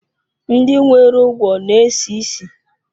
Ndị nwere ugwo na-esi ísì.